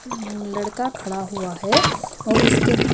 लड़का खड़ा हुआ है और उसके--